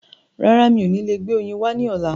Rárá, mi ò ní lè gbé oyin wá ní ọ̀la.